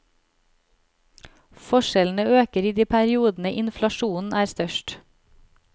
Forskjellene øker i de periodene inflasjonen er størst.